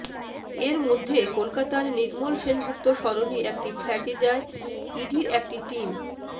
এর মধ্যে কলকাতার নির্মল সেনগুপ্ত সরণি একটি ফ্ল্যাটে যায় ইডির একটি টিম